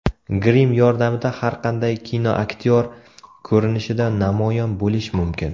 Grim yordamida har qanday kinoaktyor ko‘rinishida namoyon bo‘lish mumkin .